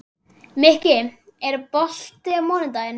Mikki, er bolti á mánudaginn?